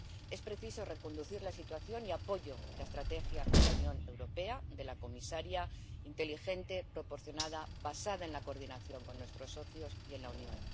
Es preciso reconducir la situación y apoyo la estrategia de la Unión Europea, de la comisaria inteligente, proporcionada, basada en la coordinación con nuestros socios y en la Unión.